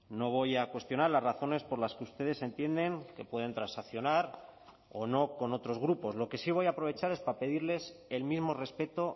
no voy a cuestionar las razones por las que ustedes entienden que pueden transaccionar o no con otros grupos lo que sí voy a aprovechar es para pedirles el mismo respeto